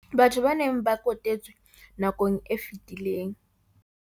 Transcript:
bathong ba neng ba kotetswe nakong e fetileng.